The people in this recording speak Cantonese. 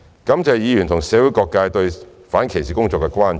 感謝議員和社會各界對反歧視工作的關注。